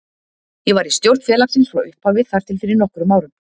Ég var í stjórn félagsins frá upphafi þar til fyrir nokkrum árum.